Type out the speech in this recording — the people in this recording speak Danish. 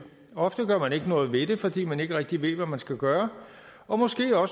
ofte gør man ikke noget ved det fordi man ikke rigtig ved hvad man skal gøre og måske